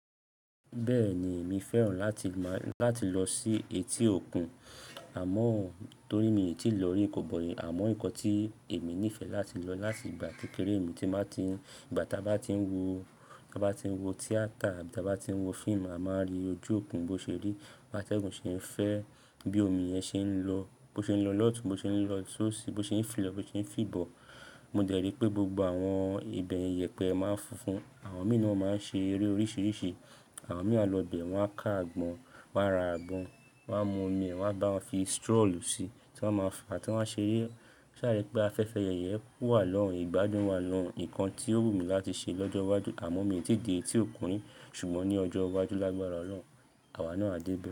Bẹ́ẹ̀ni, èmi fẹ́ràn láti máa, láti lọ sí etí òkun, àmọ́ torí mi ò tíì lọ rí, kò bọ̀ rí. Àmọ́ nǹkan tí èmi nífẹ̀ẹ́ láti lọ láti ìgbà tí kéré mi tí máa ti ń, ìgbà tá bá ti ń wo, tá bá ti ń wo theatre, abi ti á bá ti ń wo fíìmù, a máa rí ojú òkun bó ṣe rí, bi ateguń se n fẹ́, bí omi yẹn ṣe ń lọ, bó ṣe ń lọ lọ́tun, bó ṣe ń lọ sóṣì, bó ṣe ń fi lọ, bó ṣe ń fìbọ̀. Mo dẹ̀ rí pé gbogbo àwọn ibẹ̀ yẹn iyẹpẹ máa ń funfun. Àwọn mìíràn máa ń ṣe eré oríṣìíríṣìí. Àwọn mìíràn lọ bẹ̀ wọ́n á ká àgbọn, wọ́n á ra àgbọn, wọ́n á mu omi ẹ̀ wọ́n á bá wọn fi straw síi tí wọ́n máa fa tí wọ́n máa ṣe eré. Ṣá rẹ pé afẹ́fẹ́ yẹyẹ wà lọ́hùn, ìgbádùn wà lọ́hùn, nǹkan tí ó wù mí láti ṣe lọ́jọ́ iwájú. Àmọ́ mi ò tí ì dé etí òkun rìí, ṣùgbọ́n ní ọjọ́ iwájú lágbára Ọlọ́run àwa náà á dé bẹ̀